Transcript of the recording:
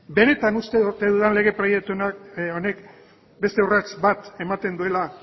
benetan uste ote dudan lege proiektu honek beste urrats bat ematen duela